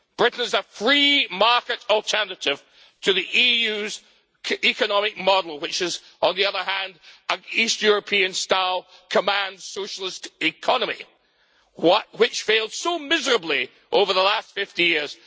Britain is a free market alternative to the EU's economic model which is, on the other hand, an East European style socialist command economy that has failed miserably over the last 50 years.